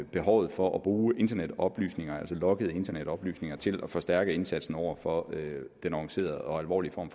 behovet for at bruge internetoplysninger altså loggede internetoplysninger til at forstærke indsatsen over for den organiserede og alvorlige form